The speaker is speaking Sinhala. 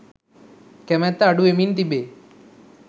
කැමැත්ත අඩු වෙමින් තිබේ.